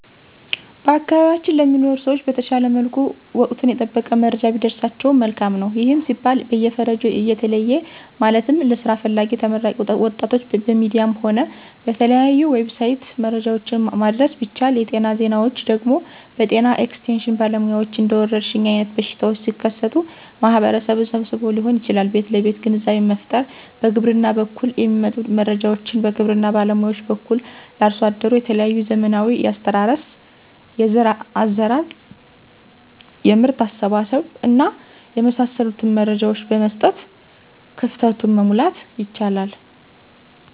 በአካባቢያችን ለሚኖሩ ሰዎች በተሻለ መልኩ ወቀቱን የጠበቀ መረጃ ቢደርሳቸው መልካም ነው። ይህም ሲባል በየፈርጁ እየተለየ ማለትም ለስራ ፈላጊ ተመራቂ ወጣቶች በሚዲያም ሆነ በተለያዩ"ዌብሳይት"መረጃዎችን ማድረስ ቢቻል, የጤና ዜናዎች ደግሞ በጤና ኤክስቴሽን ባለሙያዎች እንደወረርሽኝ አይነት በሽታዎች ሲከሰቱ ማህበረሰቡን ሰብስቦዎ ሊሆን ይችላል ቤት ለቤት ግንዛቤ መፍጠር፣ በግብርና በኩል የሚመጡ መረጃዎችን በግብርና ባለሙያዎች በኩል ለአርሶ አደሩ የተለያዩ ዘመናዊ የአስተራረስ፣ የዘር አዘራር፣ የምርት አሰባሰብ እና የመሳሰሉትን መረጃዎች በመስጠት ክፍተቱን, መሙላት ይቻላል።